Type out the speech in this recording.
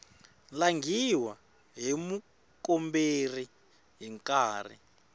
langhiwa hi mukomberi hi nkarhi